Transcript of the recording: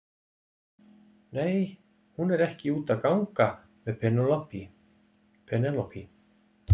Nei, hún er ekki úti að gang með Penélope.